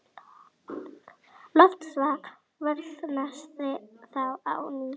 Loftslag versnaði þá á ný.